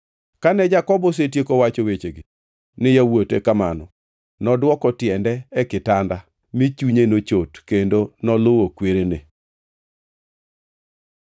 Kane Jakobo osetieko wacho wechegi ni yawuote kamano nodwoko tiende e kitanda, mi chunye nochot kendo noluwo kwerene.